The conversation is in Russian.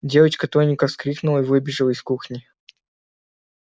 девочка тоненько вскрикнула и выбежала из кухни